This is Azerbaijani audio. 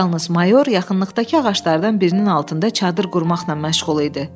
Yalnız mayor yaxınlıqdakı ağaclardan birinin altında çadır qurmaqla məşğul idi.